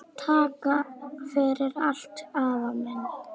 Takk fyrir allt, afi minn.